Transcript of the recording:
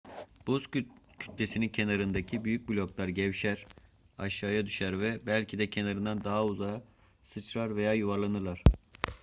buz kütlesinin kenarındaki büyük bloklar gevşer aşağıya düşer ve belki de kenardan daha uzağa sıçrar veya yuvarlanırlar